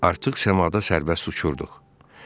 Artıq səmada sərbəst uçurduq.